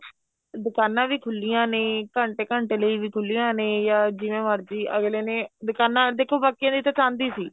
ਦੁਕਾਨਾ ਵੀ ਖੁਲੀਆਂ ਨੇ ਘੰਟੇ ਘੰਟੇ ਲਈ ਵੀ ਖੁਲੀਆਂ ਨੇ ਜਾਂ ਜਿਵੇਂ ਮਰਜੀ ਅਗਲੇ ਨੇ ਦੁਕਾਨਾ ਦੇਖੋ ਬਾਕੀਆਂ ਦੀ ਤਾਂ ਚਾਂਦੀ ਸੀ